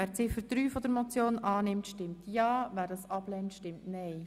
Wer diese annimmt, stimmt ja, wer sie ablehnt, stimmt nein.